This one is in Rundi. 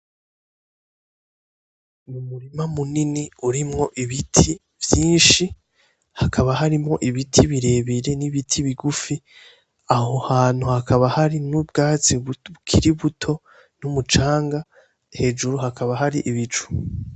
N'umurima munini urimwo ibiti vyinshi, hakaba harimwo ibiti birebire n'ibiti bigufi aho hantu hakaba hari n'ubwatsi bukiri buto n'umucanga. Hejuru hakaba hari ibi cu.